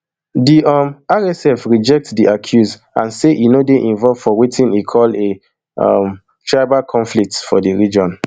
di um rsf reject di accuse and say e no dey involved for wetin e call a um tribal conflict for di region